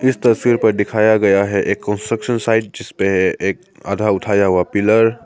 इस तस्वीर पर दिखाया गया है एक कंस्ट्रक्शन साइट जिस पे एक आधा उठाया हुआ पिलर --